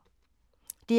DR K